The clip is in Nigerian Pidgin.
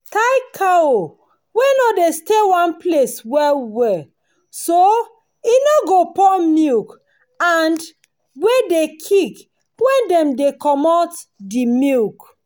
tie cow wey no dey stay one place well well so e no go pour milk and wey de kick when dem de commot the milk